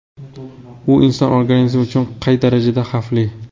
U inson organizmi uchun qay darajada xavfli?